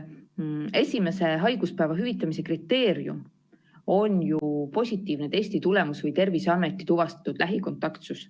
Esimese haiguspäeva hüvitamise kriteerium on ju positiivne testitulemus või Terviseameti tuvastatud lähikontaktsus.